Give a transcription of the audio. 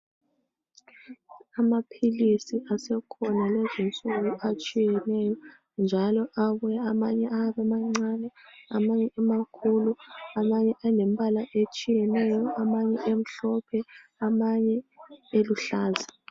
Amaphilisi asekhona lezinsuku atshiyeneyo ,njalo abuya amanye ayabe emancane amanye emakhulu. Amanye alembala etshiyeneyo amanye emhlophe, amanye eluhlaza.